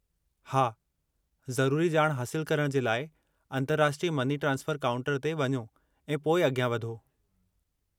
हा, ज़रुरी ॼाण हासिलु करणु जे लाइ अंतर्राष्ट्रीय मनी ट्रांसफरु काउंटर ते वञो ऐं पोइ अॻियां वधो।